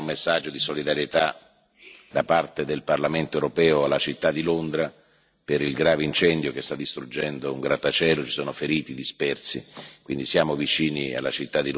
Volevo altresì inviare un messaggio di solidarietà da parte del Parlamento europeo alla città di Londra per il grave incendio che sta distruggendo un grattacielo in cui ci sono feriti e dispersi.